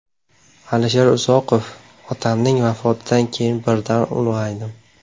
Alisher Uzoqov: Otamning vafotidan keyin birdan ulg‘aydim.